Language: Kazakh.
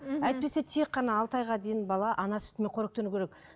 мхм әйтпесе тек қана алты айға дейін бала ана сүтімен қоректену керек